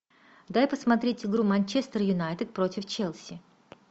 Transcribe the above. дай посмотреть игру манчестер юнайтед против челси